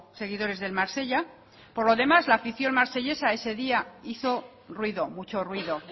seguidores del marsella por lo demás la afición marsellesa ese día hizo ruido mucho ruido